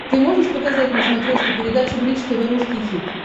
ты можешь показать на смотрешке передачу бридж тв русский хит